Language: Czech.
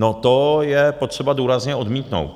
No to je potřeba důrazně odmítnout.